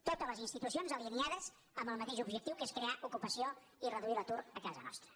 totes les institucions alineades amb el mateix objectiu que és crear ocupació i reduir l’atur a casa nostra